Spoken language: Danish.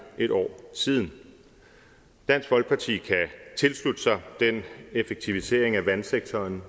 et år siden dansk folkeparti kan tilslutte sig den effektivisering af vandsektoren